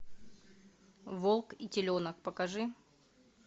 волк и теленок покажи